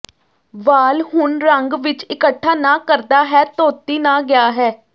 ਵਾਲ ਹੁਣ ਰੰਗ ਵਿੱਚ ਇਕੱਠਾ ਨਾ ਕਰਦਾ ਹੈ ਧੋਤੀ ਨਾ ਗਿਆ ਹੈ